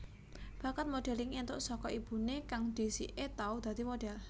Bakat modelling entuk saka ibune kang dhisike tau dadi modhel